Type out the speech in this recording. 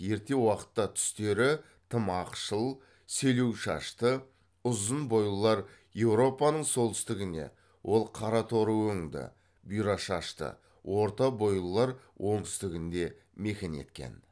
ерте уақытта түстері тым ақшыл селеу шашты ұзын бойлылар еуропаның солтүстігіне ол қара торы өңді бұйра шашты орта бойлылар оңтүстігінде мекен еткен